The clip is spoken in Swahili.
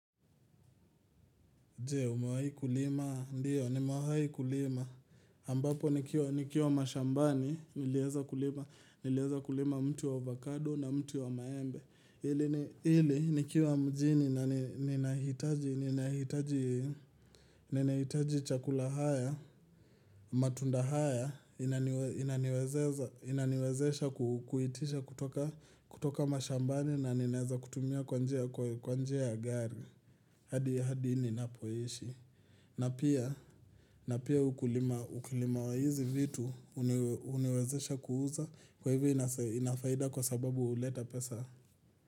Je, umawahi kulima, ndiyo, nimewahi kulima. Ambapo, nikiwa mashambani, niliweza kulima mti wa avocado na mti wa maembe. Ili, nikiwa mjini, ninahitaji chakula haya, matunda haya, inaniwezesha kuitisha kutoka mashambani, na ninaeza kutumia kwa njia ya gari. Hadi, hadi, ninapoishi. Na pia ukulima wa hizi vitu huniwezesha kuuza kwa hivyo inafaida kwa sababu huleta pesa.